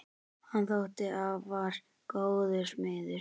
Hann þótti afar góður smiður.